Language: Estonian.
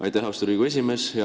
Aitäh, austatud Riigikogu esimees!